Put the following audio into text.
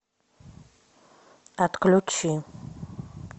отключи